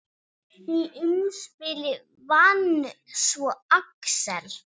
Í umspili vann svo Axel.